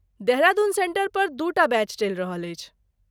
देहरादून सेंटरपर दू टा बैच चलि रहल अछि।